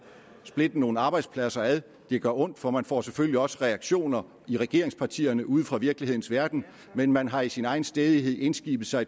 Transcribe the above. splitte nogle arbejdspladser ad det gør ondt for man får selvfølgelig også reaktioner i regeringspartierne ude fra virkelighedens verden men man har i sin egen stædighed indskibet sig